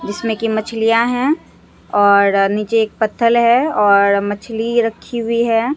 जिसमें कि मछलियां हैं और नीचे एक पत्थल है और मछली रखी हुई है।